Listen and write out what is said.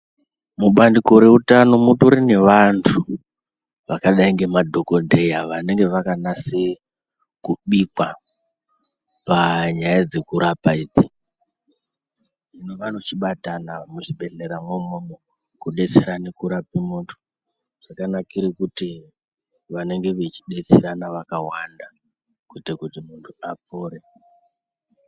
Mubandiko reutano mutori nevantu vakadai ngemadhokodheya vanengw vakanse kubikwa panyaya dzekurapa idzi, hino vanochibatama muzvibhedhlera mwo umwomwo kudetserana kurape muntu. Zvakanakire kuti vanenge vechidetserana vakawanda kuitire kuti muntu apore.